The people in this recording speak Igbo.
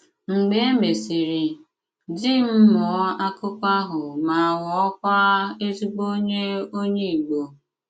Mgbè é mèsịrị, dì m mụọ́ àkụkọ àhụ mà ghọọkwà èzìgbò ònyè ònyè Ìgbò.